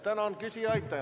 Tänan küsijaid!